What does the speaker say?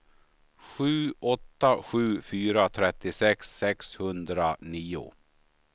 sju åtta sju fyra trettiosex sexhundranio